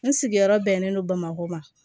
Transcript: N sigiyɔrɔ bɛnnen don bamakɔ ma